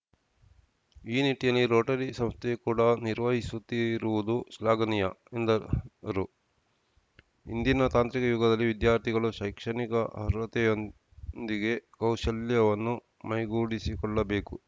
ಈ ನಿಟ್ಟಿನಲ್ಲಿ ರೋಟರಿ ಸಂಸ್ಥೆ ಕೂಡ ನಿರ್ವಹಿಸುತ್ತಿರುವುದು ಶ್ಲಾಘನೀಯ ಎಂದರು ಇಂದಿನ ತಾಂತ್ರಿಕ ಯುಗದಲ್ಲಿ ವಿದ್ಯಾರ್ಥಿಗಳು ಶೈಕ್ಷಣಿಕ ಅರ್ಹತೆಯೊಂದಿಗೆ ಕೌಶಲ್ಯವನ್ನು ಮೈಗೂಡಿಸಿಕೊಳ್ಳಬೇಕು